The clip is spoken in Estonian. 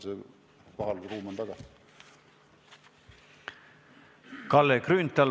Kalle Grünthal, palun!